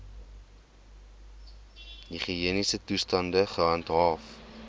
higiëniese toestande gehandhaaf